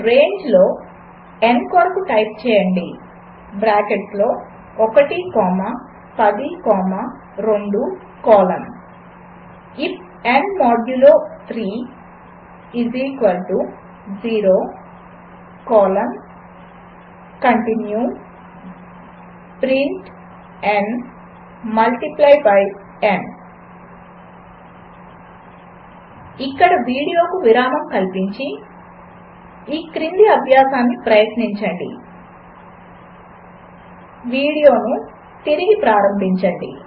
రేంజ్లో n కొరకు type చేయండి బ్రాకెట్స్లో 1 comma 10 comma 2 colon I F n modulo 3 0 colon continue print n multiply by n ఇక్కడ వీడియోకు విరామం కల్పించి ఈ క్రింది అభ్యాసాన్ని ప్రయత్నించి వీడియోను మరల పునఃప్రారంభించండి